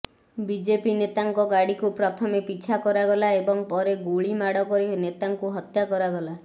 BJP ନେତାଙ୍କ ଗାଡିକୁ ପ୍ରଥମେ ପିଛା କରାଗଲା ଏବଂ ପରେ ଗୁଳିମାଡ କରି ନେତାଙ୍କୁ ହତ୍ୟା କରାଗଲା